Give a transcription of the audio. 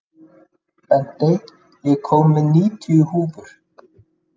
Bentey, ég kom með níutíu húfur!